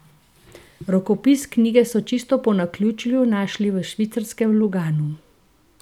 Rokopis knjige so čisto po naključju našli v švicarskem Luganu.